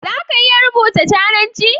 Za ka iya rubuta cananci?